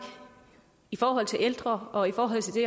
i forhold til ældre og i forhold til det